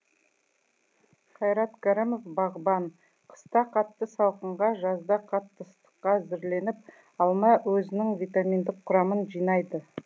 қайрат кәрімов бағбан қыста қатты салқынға жазда қатты ыстыққа әзірленіп алма өзінің витаминдік құрамын жинайды